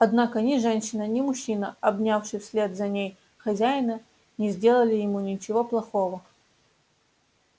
однако ни женщина ни мужчина обнявший вслед за ней хозяина не сделали ему ничего плохого